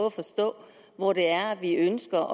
at forstå hvor det er vi ønsker